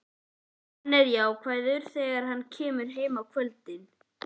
Hann er jákvæður þegar hann kemur heim á kvöldin.